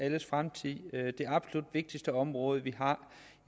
alles fremtid altså på det absolut vigtigste område vi har